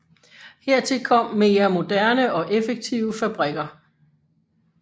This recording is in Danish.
Hertil kom mere moderne og effektive fabrikker